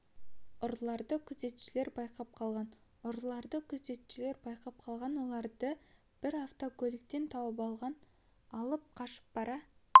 ұрыларды күзетшілер байқап қалған ұрыларды күзетшілер байқап қалған олардың бірі автокөліктен тауып алған алып қашып бара